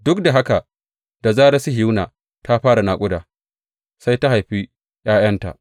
Duk da haka da zarar Sihiyona ta fara naƙuda sai ta haifi ’ya’yanta.